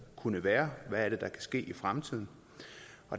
kunne være hvad der kan ske i fremtiden